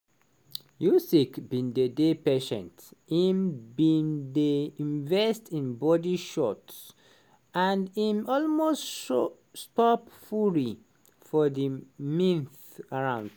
usyk bin dey dey patient im bin dey invest in body shots and im almost stop stop fury for di ninth round.